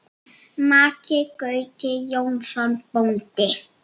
Maki Gauti Jónsson bóndi.